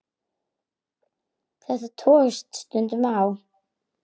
Þetta togast stundum á.